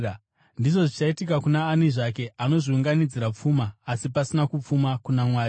“Ndizvo zvichaitika kuna ani zvake anozviunganidzira pfuma asi asina kupfuma kuna Mwari.”